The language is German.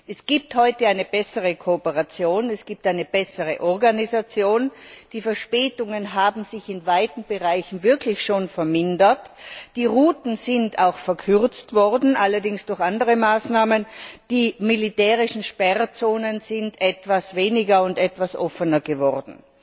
Es gibt heute eine bessere Kooperation, es gibt eine bessere Organisation, die Verspätungen haben sich in weiten Bereichen wirklich schon vermindert, die Routen sind auch verkürzt worden allerdings durch andere Maßnahmen die militärischen Sperrzonen sind etwas weniger und etwas offener geworden.